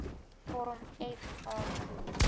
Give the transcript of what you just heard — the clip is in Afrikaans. vorm f aansoek